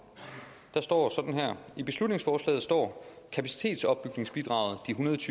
i beslutningsforslaget står at kapacitetsopbygningsbidraget